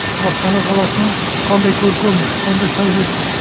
астана қаласының қандай көркем қандай сәулетті